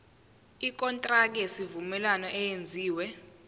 ikontraki yesivumelwano eyenziwe